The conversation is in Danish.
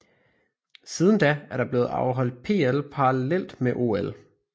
Siden da er der blevet afholdt PL parallelt med OL